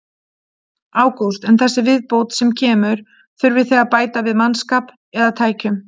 Ágúst: En þessi viðbót sem kemur, þurfið þið að bæta við mannskap eða tækjum?